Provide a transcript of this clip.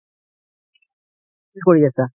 কি কৰি আছা?